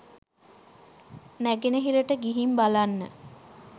නැගෙනහිරට ගිහින් බලන්න